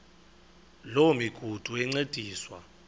loo migudu encediswa